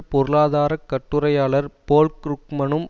பொருளாதார கட்டுரையாளர் போல் க்ருக்மனும்